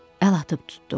Əl atıb tutdum.